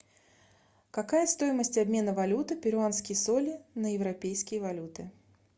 какая стоимость обмена валюты перуанские соли на европейские валюты